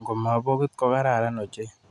Ngo ma bokit ko karan ochei.